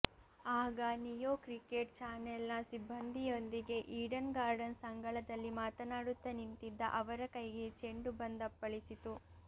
ಆಗ Neo cricket ಚಾನೆಲ್ನ ಸಿಬ್ಬಂದಿಯೊಂದಿಗೆ ಈಡನ್ ಗಾರ್ಡನ್ಸ್ ಅಂಗಳದಲ್ಲಿ ಮಾತನಾಡುತ್ತಾ ನಿಂತಿದ್ದ ಅವರ ಕೈಗೆ ಚೆಂಡು ಬಂದಪ್ಪಳಿಸಿತು